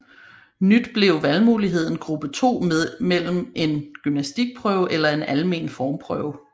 Nyt blev valgmuligheden gruppe 2 mellem en gymnastikprøve eller en almen formprøve